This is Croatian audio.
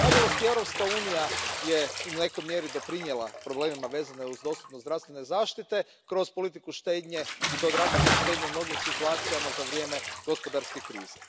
Nažalost, i Europska unija je u nekoj mjeri doprinijela problemima vezanim uz dostupnost zdravstvene zaštite kroz politiku štednje, i to drakonske štednje u mnogim situacijama za vrijeme gospodarske krize.